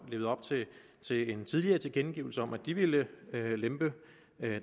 levet op til til en tidligere tilkendegivelse om at de ville lempe